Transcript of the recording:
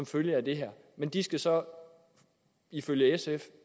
følge af det her men de skal så ifølge sf